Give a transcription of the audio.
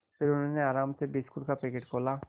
फिर उन्होंने आराम से बिस्कुट का पैकेट खोला